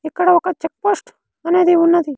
ఇక్కడ ఒక check post అనేది ఉన్నది.